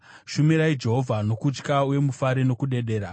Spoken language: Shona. Shumirai Jehovha nokutya, uye mufare nokudedera.